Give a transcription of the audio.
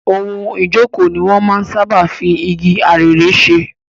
Ohun ìjókòó ni wọn máa ń sáábà fi igi arère ṣe.